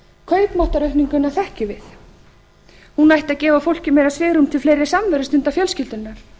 kaupmáttaraukninguna þekkjum við hún ætti að gefa fólki meira svigrúm til fleiri samverustunda fjölskyldunnar